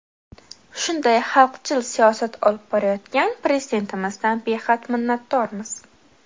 Shunday xalqchil siyosat olib borayotgan Prezidentimizdan behad minnatdormiz.